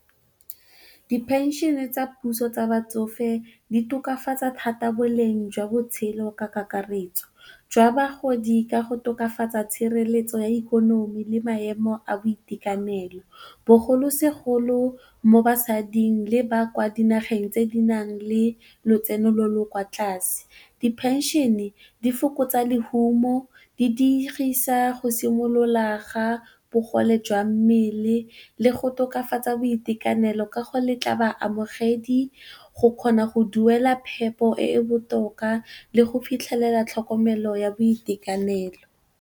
Di phenšene tsa puso tsa batsofe di tokafatsa thata boleng jwa botshelo ka kakaretso jwa bagodi ka go tokafatsa tshireletso ya ikonomi le maemo a boitekanelo, bogolosegolo mo basading le ba kwa dinageng tse di nang le lotseno lo lo kwa tlase. Di phenšene di fokotsa lehumo, go di diegisa go simolola ga bogole jwa mmele le go tokafatsa boitekanelo ka go letla ba amogediwa go kgona go duela phepo e e botoka le go fitlhelela tlhokomelo ya boitekanelo.